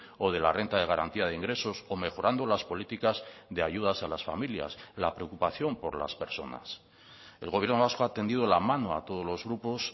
o de la renta de garantía de ingresos o mejorando las políticas de ayudas a las familias la preocupación por las personas el gobierno vasco ha tendido la mano a todos los grupos